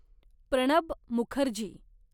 Pranab Mukherjee